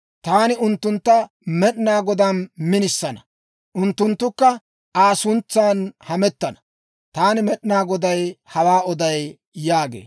Taani unttuntta Med'inaa Godaan minisana; unttunttukka Aa suntsan hamettana. Taani Med'inaa Goday hawaa oday» yaagee.